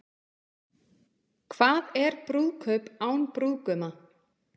Hvað er brúðkaup án brúðguma?